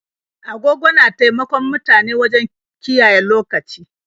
Agogo na taimakon mutane wajen kiyaye lokaci.